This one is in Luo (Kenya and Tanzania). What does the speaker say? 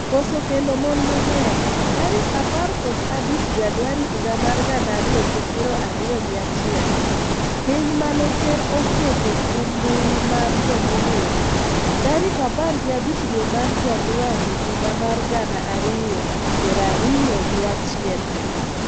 koso kendo mon mang'eny, tarik apar kod abich januari higa mar gana ariyo gi piro ariyo gi achiel, piny mane ker oketo kum mbui mar jomong'ere, tarik apar gi abic dwe mar januari higa mar gana ariyo piri ariyo gi achiel,